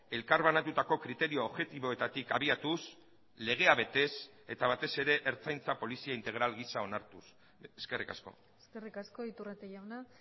elkarbanatutako kriterio objektiboetatik abiatuz legea betez eta batez ere ertzaintza polizia integral gisa onartuz eskerrik asko eskerrik asko iturrate jauna